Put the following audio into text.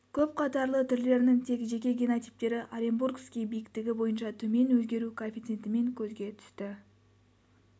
көпқатарлы түрлерінің тек жеке генотиптері оренбургский биіктігі бойынша төмен өзгеру коэффицентімен көзге түсті